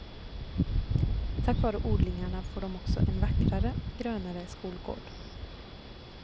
Tack vare odlingarna får de också en vackrare, grönare skolgård.